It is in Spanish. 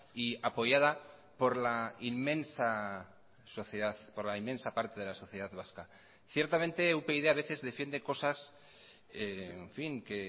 y apoyada por la inmensa sociedad por la inmensa parte de la sociedad vasca ciertamente upyd a veces defiende cosas en fin que